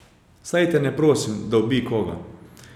Saj te ne prosim, da ubij koga.